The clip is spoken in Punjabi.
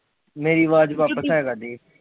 ਮੇਰੀ ਅਵਾਜ ਵਾਪਸ ਆਇਆ ਕਰਦੀ